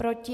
Proti?